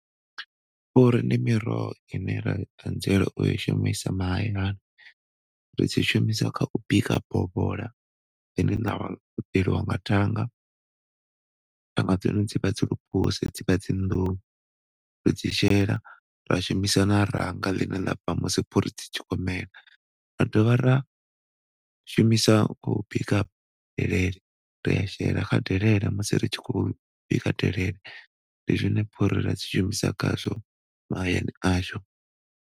Phuri ndi miroho ine rai anzela u shumisa mahayani ri dzu shumisa kha u bika bovhola ḽine ḽa konḓelwa nga thanga. Thanga dza hone dzi vha dzi lwu phase dzi vha dzi nḓuhu ri dzi shela ra shumisa na ranga ḽine ḽa bva musi phuri dzi tshi khou mela. Ra dovha ra shumisa u bika kha delele, ri a shela kha delele musi ri tshi khou bika delele. Ndi zwone phuri ra shumisa khazwo mahayani ashu.